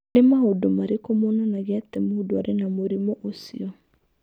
Nĩ maũndũ marĩkũ monanagia atĩ mũndũ arĩ na mũrimũ ũcio?